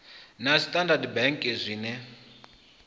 na a standard bank zwinwe